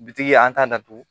Bitigi an t'a datugu